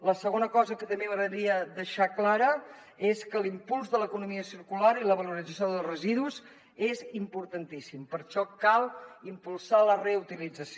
la segona cosa que també m’agradaria deixar clara és que l’impuls de l’economia circular i la valorització dels residus són importantíssims per això cal impulsar la reutilització